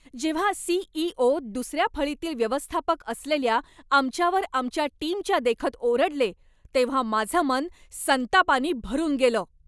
जेव्हा C. E. O. दुसऱ्या फळीतील व्यवस्थापक असलेल्या आमच्यावर आमच्या टीमच्या देखत ओरडले तेव्हा माझं मन संतापानी भरून गेलं.